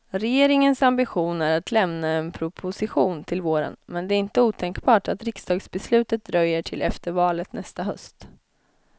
Regeringens ambition är att lämna en proposition till våren, men det är inte otänkbart att riksdagsbeslutet dröjer till efter valet nästa höst.